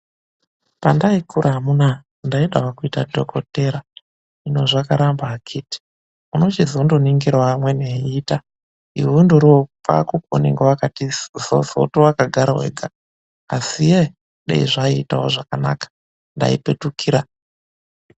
Pandai kura amuna-a ndaidawo kuita dhokodheya, hino zvakaramba akithi. Unochizondoringirawo amweni eiita iwe undoriwo pako peunenge wakati zozoto wakagara wega. Asi ye-e dai zvaiitawo zvakanaka ndaipetukira.